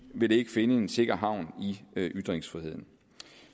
vil ikke finde en sikker havn i ytringsfriheden